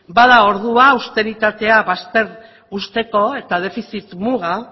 bada ordua austeritatea bazter uzteko eta defizit muga